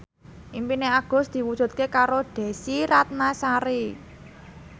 impine Agus diwujudke karo Desy Ratnasari